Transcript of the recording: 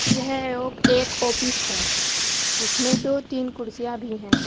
यह ओ एक ऑफिस है जिसमे दो तीन कुर्सियां भी हैं।